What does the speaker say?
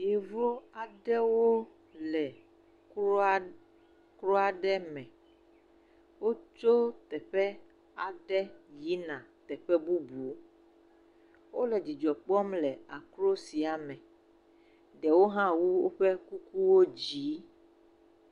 Yevu aɖewo le krɔa krɔa aɖe me. Wotso teƒe aɖe yina teƒe bubu. Wo le dzidzɔ kpɔm le akro sia me. Ɖewo hã wu woƒe kuku dzi.